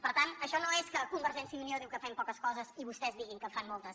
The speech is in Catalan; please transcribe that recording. per tant això no és que convergència i unió digui que fem poques coses i vostès diguin que en falten moltes